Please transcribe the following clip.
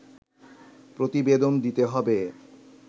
প্রতিবেদন দিতে হবে